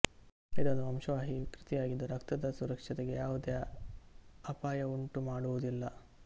ಇದೊಂದು ವಂಶವಾಹಿ ವಿಕೃತಿಯಾಗಿದ್ದು ರಕ್ತದ ಸುರಕ್ಷತೆಗೆ ಯಾವುದೇ ಅಪಾಯ ಉಂಟುಮಾಡುವುದಿಲ್ಲ